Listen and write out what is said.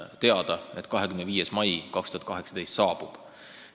– on teada, et 25. mai 2018 saabub.